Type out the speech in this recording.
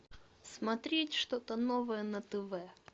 смотреть что то новое на тв